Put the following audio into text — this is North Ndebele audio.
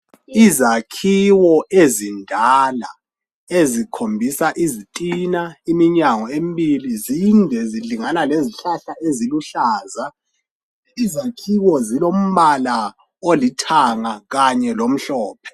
Izakhiwo ezindala ezikhombisa izitina, iminyango emibili zinde zilingana lezihlahla eziluhlaza izakhiwo zilombala olithanga kanye lomhlophe